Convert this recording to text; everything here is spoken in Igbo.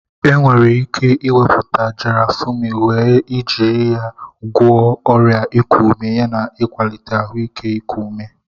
Enwere ike ịwepụta Garafuni wee ijiri ya gwọọ ọrịa iku ume yana kwalite ahụike iku ume.